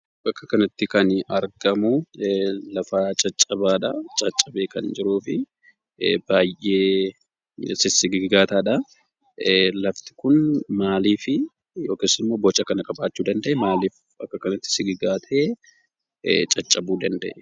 Bakka kanatti kan argamuu, lafa caccabaadhaa, caccabee kan jiruufi baayyee sissigigaataadhaa, lafti kun maaliifi yookis ammoo boca kana qabaachuu danda'e? Maaliif akka kanatti sissigigaatee caccabuu danda'e?